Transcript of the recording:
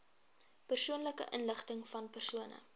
persoonlike inligtingvan persone